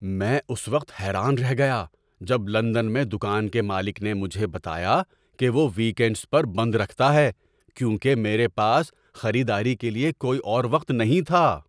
میں اس وقت حیران رہ گیا جب لندن میں دکان کے مالک نے مجھے بتایا کہ وہ ویک اینڈز پر بند رکھتا ہے، کیونکہ میرے پاس خریداری کے لیے کوئی اور وقت نہیں تھا۔